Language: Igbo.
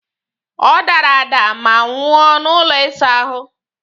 Ọ dara ada ma nwụọ n'ụlọ ịsa ahụ!